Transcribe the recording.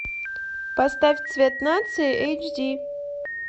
поставь цвет нации эйч ди